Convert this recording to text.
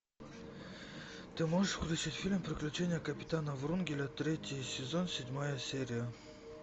ты можешь включить фильм приключения капитана врунгеля третий сезон седьмая серия